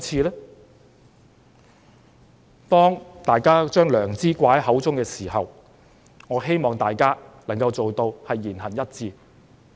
當大家把良知掛在嘴邊時，我希望大家能夠言行一致。